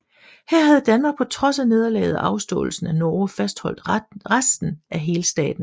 Her havde Danmark på trods af nederlaget og afståelsen af Norge fastholdt resten af helstaten